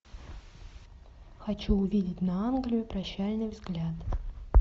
хочу увидеть на англию прощальный взгляд